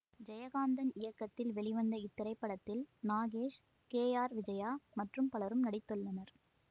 ஜெயகாந்தன் இயக்கத்தில் வெளிவந்த இத்திரைப்படத்தில் நாகேஷ் கே ஆர் விஜயா மற்றும் பலரும் நடித்துள்ளனர்